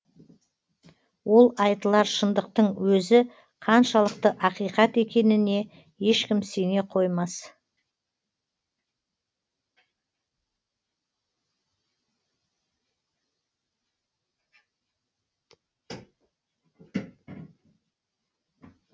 ол айтылар шындықтың өзі қаншалықты ақиқат екеніне ешкім сене қоймас